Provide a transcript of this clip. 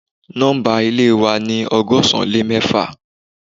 Nọ́mbà Ilé wa ni ọgọ́sán lè mẹ́fà